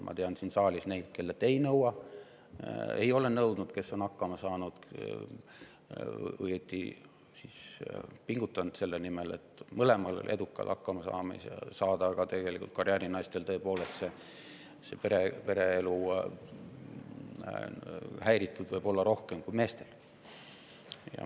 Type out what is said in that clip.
Ma tean siin saalis neid, kellelt ei nõua, ei ole nõudnud ja kes on hakkama saanud, õigemini, pingutanud selle nimel, et mõlemal pool edukalt hakkama saada, aga tegelikult võib karjäärinaistel tõepoolest olla pereelu rohkem häiritud kui meestel.